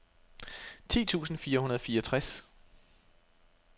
ti tusind fire hundrede og fireogtres